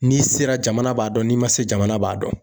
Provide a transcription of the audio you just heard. N'i sera jamana b'a dɔn n'i ma se jamana b'a dɔn